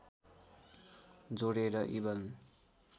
जोडेर इबन